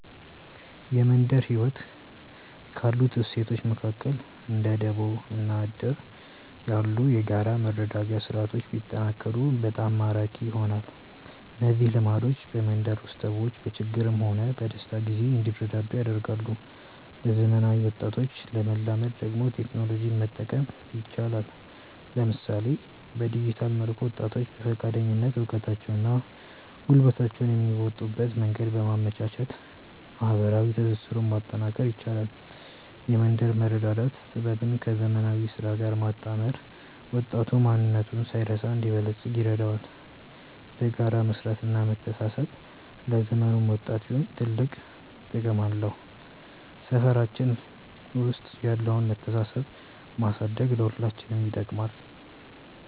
የመንደር ህይወት ካሉት እሴቶች መካከል እንደ ደቦ እና እድር ያሉ የጋራ መረዳጃ ስርዓቶች ቢጠናከሩ በጣም ማራኪ ይሆናሉ። እነዚህ ልምዶች በመንደር ውስጥ ሰዎች በችግርም ሆነ በደስታ ጊዜ እንዲረዳዱ ያደርጋሉ። ለዘመናዊ ወጣቶች ለማላመድ ደግሞ ቴክኖሎጂን መጠቀም ይቻላል፤ ለምሳሌ በዲጂታል መድረክ ወጣቶች በፈቃደኝነት እውቀታቸውንና ጉልበታቸውን የሚያዋጡበትን መንገድ በማመቻቸት ማህበራዊ ትስስሩን ማጠናከር ይቻላል። የመንደር መረዳዳት ጥበብን ከዘመናዊ ስራ ጋር ማጣመር ወጣቱ ማንነቱን ሳይረሳ እንዲበለጽግ ይረዳዋል። በጋራ መስራትና መተሳሰብ ለዘመኑም ወጣት ቢሆን ትልቅ ጥቅም አለው። ሰፈራችን ውስጥ ያለውን መተሳሰብ ማሳደግ ለሁላችንም ይጠቅማል።